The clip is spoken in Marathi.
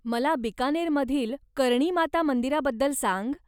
मला बिकानेरमधील कर्णी माता मंदिराबद्दल सांग.